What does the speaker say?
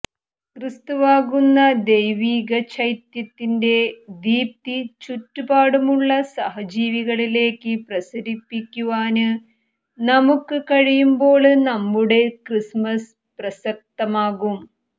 ക്രിസ്തുവാകുന്ന ദൈവീക ചൈത്യത്തിന്റെ ദീപ്തി ചുറ്റുപാടുമുളള സഹജിവികളിലേക്ക് പ്രസരിപ്പിക്കുവാന് നമുക്ക് കഴിയുമ്പോള് നമ്മുടെ ക്രിസ്മസ്സ് പ്രസക്തമാകും